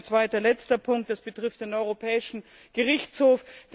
Ein zweiter, letzter Punkt betrifft den Europäischen Gerichtshof.